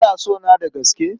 Kana sona da gaske?